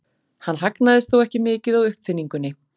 Hann hagnaðist þó ekki mikið á uppfinningunni.